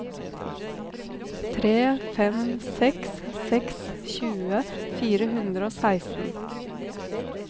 tre fem seks seks tjue fire hundre og seksten